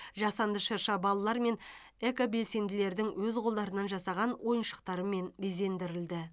жасанды шырша балалар мен экобелсенділердің өз қолдарынан жасаған ойыншықтарымен безендірілді